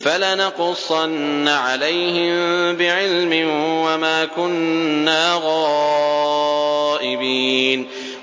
فَلَنَقُصَّنَّ عَلَيْهِم بِعِلْمٍ ۖ وَمَا كُنَّا غَائِبِينَ